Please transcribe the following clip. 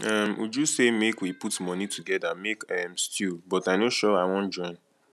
um uju say make we put money together make um stew but i no sure i wan join